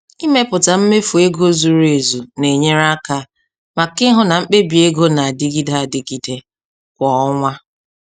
Ịmepụta mmefu ego zuru ezu na-enyere aka maka ịhụ na mkpebi ego na-adịgide adịgide kwa ọnwa.